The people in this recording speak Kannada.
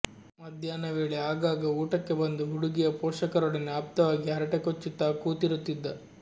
ಮಧ್ಯಾಹ್ನ ವೇಳೆ ಆಗಾಗ ಊಟಕ್ಕೆ ಬಂದು ಹುಡುಗಿಯ ಪೋಷಕರೊಡನೆ ಆಪ್ತವಾಗಿ ಹರಟೆ ಕೊಚ್ಚುತ್ತಾ ಕೂತಿರುತ್ತಿದ್ದ